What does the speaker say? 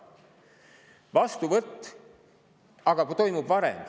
Vastuvõtt aga toimub varem.